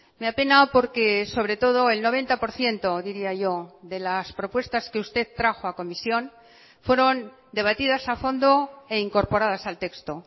me apena porque sobre todo el noventa por ciento diría yo de las propuestas que usted trajo a comisión fueron debatidas a fondo e incorporadas al texto